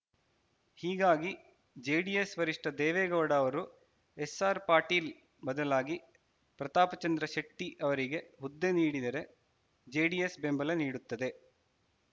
ಹೀಗಾಗಿ ಜೆಡಿಎಸ್‌ ವರಿಷ್ಠ ದೇವೇಗೌಡ ಅವರು ಎಸ್‌ಆರ್‌ ಪಾಟೀಲ್‌ ಬದಲಾಗಿ ಪ್ರತಾಪಚಂದ್ರ ಶೆಟ್ಟಿಅವರಿಗೆ ಹುದ್ದೆ ನೀಡಿದರೆ ಜೆಡಿಎಸ್‌ ಬೆಂಬಲ ನೀಡುತ್ತದೆ